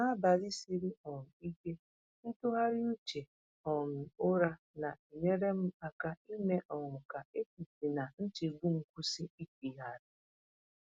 N’abalị siri um ike, ntụgharị uche um ụra na-enyere m aka ime um ka echiche na nchegbu m kwụsị ịchịgharị.